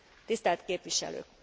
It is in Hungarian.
Tisztelt képviselők!